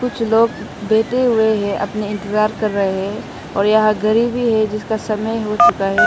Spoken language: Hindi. कुछ लोग बैठे हुए हैं अपने इंतजार कर रहे हैं और यहां घड़ी है जिसका समय हो चुका है।